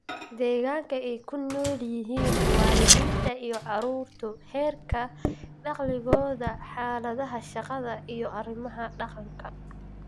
Deegaanka ay ku nool yihiin waalidiinta iyo carruurtu, heerka dakhligooda, xaaladaha shaqada iyo arrimaha dhaqanka.